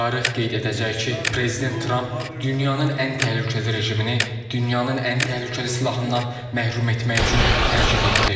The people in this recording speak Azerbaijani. Tarix qeyd edəcək ki, prezident Trump dünyanın ən təhlükəli rejimini, dünyanın ən təhlükəli silahından məhrum etmək üçün hərəkət etdi.